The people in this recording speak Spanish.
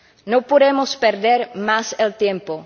No podemos perder más el tiempo.